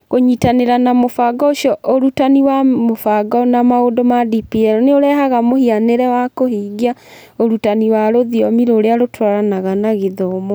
Kũnyitanĩra na mũbango ũcio ũrutani wa mũbango na maũndũ ma DPL nĩ ũrehaga mũhianĩre wa kũhingia ũrutani wa rũthiomi rũrĩa rũtwaranaga na gĩthomo